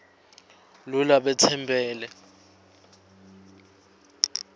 lo labe tsembele